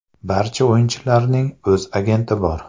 Barcha o‘yinchilarning o‘z agenti bor.